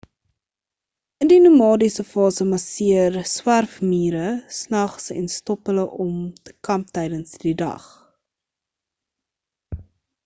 in die nomadiese fase marsjeer swerfmiere snags en stop hulle om te kamp tydens die dag